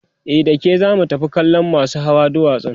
e dake zamu tafi kallan masu Hawa dutsen